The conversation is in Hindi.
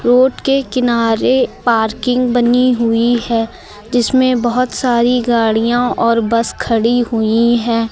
रोड के किनारे पार्किंग बनी हुई है जिसमें बहुत सारी गाड़ियां और बस खड़ी हुई है।